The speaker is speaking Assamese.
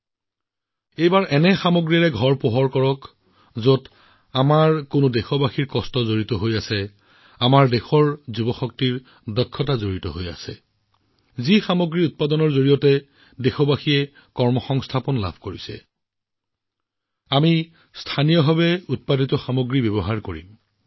এইবাৰ ঘৰখন কেৱল এনেকুৱা এটা সামগ্ৰীৰে পোহৰাই লওঁক যত মোৰ এজন দেশবাসীৰ ঘামৰ গোন্ধ আছে মোৰ দেশৰ এজন যুৱকৰ প্ৰতিভা যাৰ উৎপাদনে মোৰ দেশবাসীক কৰ্মসংস্থাপন প্ৰদান কৰিছে যিয়েই নহওক কিয়আমি স্থানীয় সামগ্ৰীহে ক্ৰয় কৰিম